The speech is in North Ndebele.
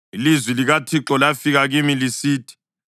Ilizwi likaThixo lafika kimi lisithi,